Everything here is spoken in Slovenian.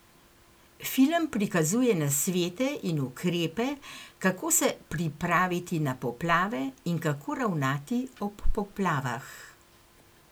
Film prikazuje nasvete in ukrepe, kako se pripraviti na poplave in kako ravnati ob poplavah.